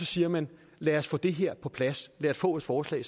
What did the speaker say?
siger man lad os få det her på plads lad os få et forslag